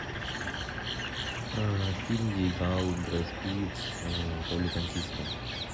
фильм где играл брэд питт в роли танкиста